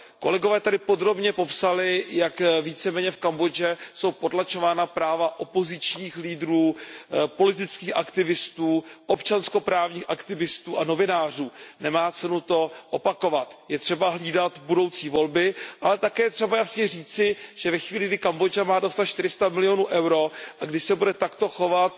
Kolegové tady podrobně popsali, jak víceméně v Kambodži jsou potlačována práva opozičních lídrů, politických aktivistů, občanskoprávních aktivistů a novinářů, nemá cenu to opakovat. Je třeba hlídat budoucí volby, ale také je třeba jasně říci, že ve chvíli, kdy Kambodža má dostat 400 milionů EUR a pokud se bude takto chovat